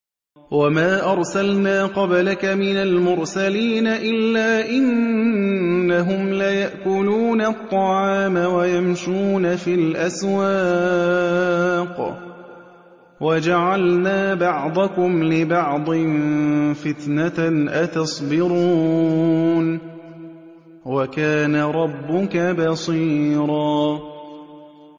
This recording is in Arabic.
وَمَا أَرْسَلْنَا قَبْلَكَ مِنَ الْمُرْسَلِينَ إِلَّا إِنَّهُمْ لَيَأْكُلُونَ الطَّعَامَ وَيَمْشُونَ فِي الْأَسْوَاقِ ۗ وَجَعَلْنَا بَعْضَكُمْ لِبَعْضٍ فِتْنَةً أَتَصْبِرُونَ ۗ وَكَانَ رَبُّكَ بَصِيرًا